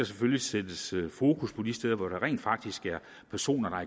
selvfølgelig sættes fokus på de steder hvor der rent faktisk er personer der